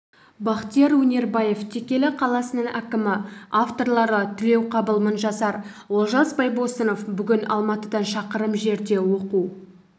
бақтияр өнербаев текелі қаласының әкімі авторлары тілеуқабыл мыңжасар олжас байбосынов бүгін алматыдан шақырым жерде оқу